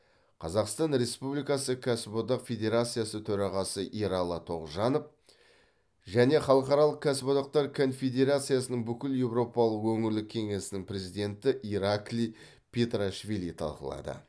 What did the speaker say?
қазақстан республикасы кәсіп одақ федерациясы төрағасы ералы тоғжанов пен халықаралық кәсіподақтар конфедерациясының бүкілеуропалық өңірлік кеңесінің президенті ираклий петриашвили талқылады